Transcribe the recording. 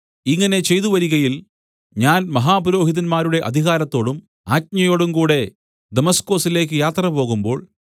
ഇങ്ങനെ ചെയ്തുവരികയിൽ ഞാൻ മഹാപുരോഹിതന്മാരുടെ അധികാരത്തോടും ആജ്ഞയോടും കൂടെ ദമസ്കൊസിലേക്ക് യാത്രപോകുമ്പോൾ